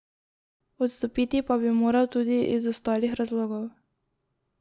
Odstopiti pa bi moral tudi iz ostalih razlogov.